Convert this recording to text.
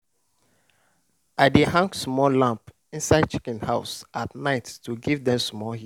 i dey hang small lamp inside chicken house at night to give dem small heat.